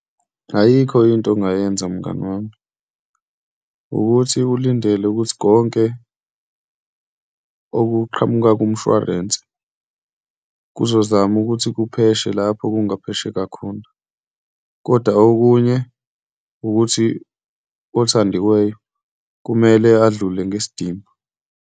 Ayikho into ongayenza mngani wami, ukuthi ulindele ukuthi konke okuqhamuka kumshwarensi kuzozama ukuthi kupheshe lapho kungaphesheka akhona. Kodwa okunye ukuthi othandiweyo kumele adlule ngesidima.